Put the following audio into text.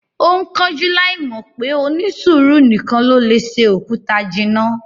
Ó ń kánjú láì mọ̀ pé "onísùúrù nìkan ló lè se òkúta jinná"